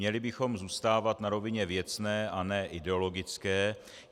Měli bychom zůstávat na rovině věcné a ne ideologické.